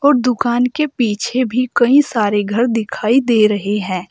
और दुकान के पीछे भी कई सारे घर दिखाई दे रहे हैं।